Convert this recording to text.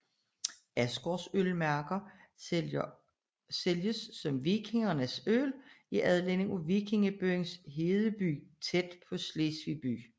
Asgaards ølmærker sælges som vikingernes øl i anledning til vikingebyen Hedeby tæt ved Slesvig by